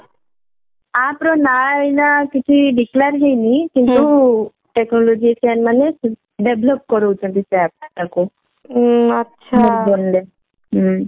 App ର ନା ଏଇନା କିଛି declare ହେଇନି କିନ୍ତୁ technologian ମାନେ develop କରଉଛନ୍ତି ସେଇ app ଟା କୁ